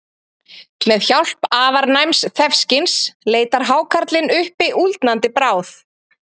Með hjálp afar næms þefskyns leitar hákarlinn uppi úldnandi bráð.